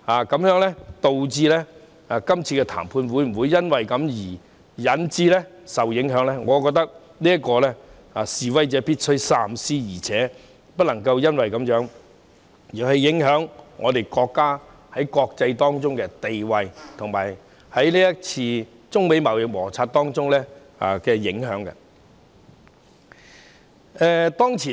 今次的談判會否因而受影響，我覺得示威者必須三思，更不能因而影響國家的國際地位，以及不能令國家在中美貿易摩擦中受到影響。